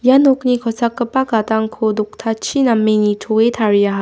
ua nokni kosakgipa gadangko doktachi name nitoe tariaha.